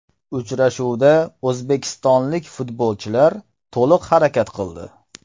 Uchrashuvda o‘zbekistonlik futbolchilar to‘liq harakat qildi.